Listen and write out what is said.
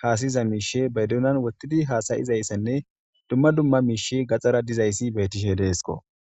hasayiza mishshe ba donan wotidi hasayizayisane dumma dumma mishshi gaxara dizayisa betishe desikko.